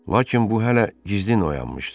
Lakin bu hələ gizli oyanmışdı.